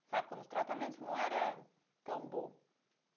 sabe, quando o tratamento não era tão bom.